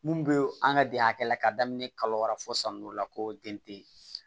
Mun be an ka de hakɛ la ka daminɛ kalo wɛrɛ fo san n'o la ko den te